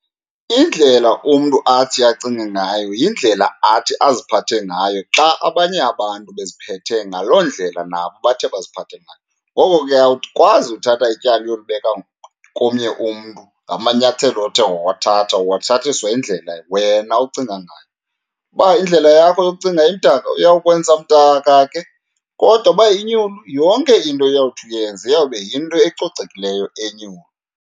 Indlela umntu athi acinge ngayo yindlela athi aziphathe ngayo xa abanye abantu beziphethe ngaloo ndlela nabo bathe baziphathe ngayo. Ngoko ke awukwazi uthatha ityala uyolibeka komnye umntu ngamanyathelo othe wawathatha, uwathathiswa yindlela wena ocinga ngayo. Uba indlela yakho yokucinga imdaka, uyawukwenza mdaka ke, kodwa uba inyulu, yonke into oyawuthi uyenza iyawube yinto ecocekileyo, enyulu.